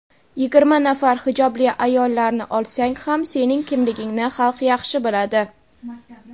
yigirma nafar hijobli ayollarni olsang ham sening kimligingni xalq yaxshi biladi.